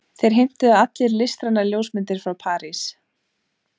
Þeir heimtuðu allir listrænar ljósmyndir frá París.